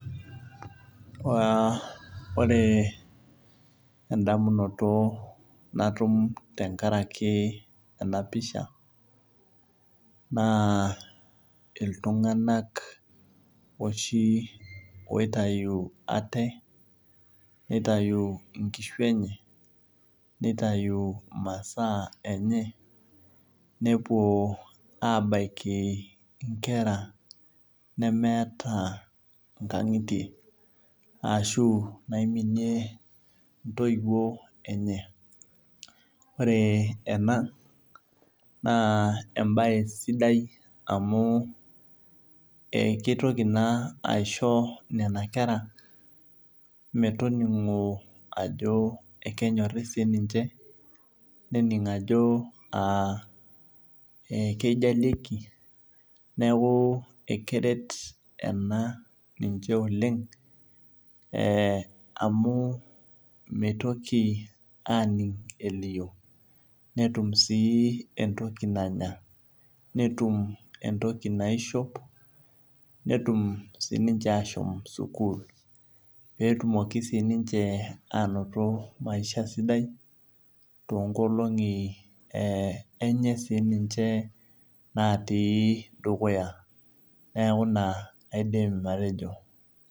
Ore endamunoto natum tenkaraki enapisha na ltunganak oshi oitau ate nitayi nkishu enye nitau masaa enye nepuo abaki nkera nemeeta nkangitie ashu naiminie ntoiwuo enyeore ena na embae sidai amu kitoki na aisho nona kera metoningo ajo kenyori sininye nening ajo kijalieki neaku ekeret ena oleng amu mitoki aning elio netum entoki nanya netum entoki naishop netum sininche ashom sukul petumoki siniche anoto maisha sidai tonkolongi enye sininche naitii dukuya neaku ina adim atejo.